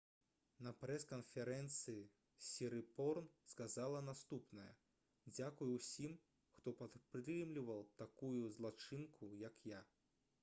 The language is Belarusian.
на прэс-канферэнцыі сірыпорн сказала наступнае: «дзякуй усім хто падтрымліваў такую злачынку як я»